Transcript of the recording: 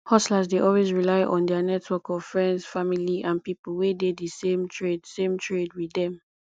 hustlers dey always rely on their network of friends family and people wey dey di same trade same trade with them